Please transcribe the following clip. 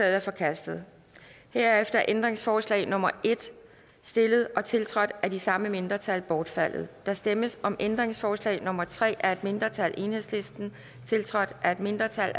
er forkastet herefter er ændringsforslag nummer en stillet og tiltrådt af de samme mindretal bortfaldet der stemmes om ændringsforslag nummer tre af et mindretal tiltrådt af et mindretal